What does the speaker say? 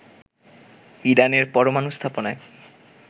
ইরানের পরমানু স্থাপনায়